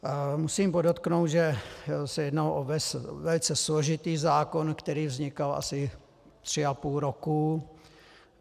Musím podotknout, že se jednalo o velice složitý zákon, který vznikal asi tři a půl roku.